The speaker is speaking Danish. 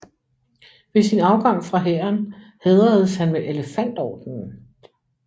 Ved sin afgang fra hæren hædredes han med Elefantordenen